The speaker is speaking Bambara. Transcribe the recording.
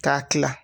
K'a tila